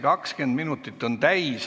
20 minutit on täis.